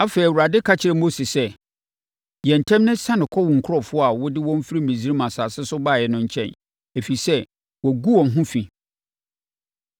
Afei, Awurade ka kyerɛɛ Mose sɛ, “Yɛ ntɛm na siane kɔ wo nkurɔfoɔ a wode wɔn firi Misraim asase so baeɛ no nkyɛn, ɛfiri sɛ, wɔagu wɔn ho fi,